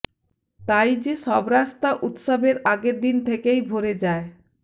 তাই যে সব রাস্তা উৎসবের আগের দিন থেকেই ভরে যায়